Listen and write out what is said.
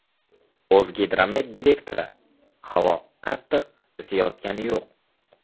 O‘zgidromet direktori : Havo qattiq isiyotgani yo‘q.